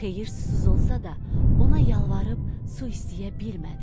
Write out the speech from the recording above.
Xeyir susuz olsa da, ona yalvarıb su istəyə bilmədi.